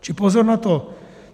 Čili pozor na to.